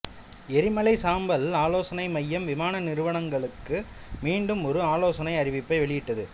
எரிமலை சாம்பல் ஆலோசனை மையம் விமான நிறுவனங்களுக்கு மீண்டும் ஒரு ஆலோசனை அறிவிப்பை வெளியிட்டது